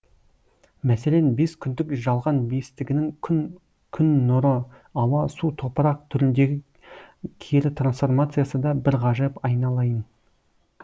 мәселен бес күндік жалған бестігінің күн күн нұры ауа су топырақ түріндегі кері трансформациясы да бір ғажап айналайын